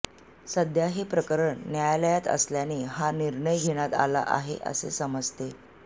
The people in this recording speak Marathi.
सध्या हे प्रकरण न्यायालयात असल्याने हा निर्णय घेण्यात आला आहे असे समजते